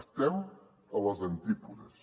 estem a les antípodes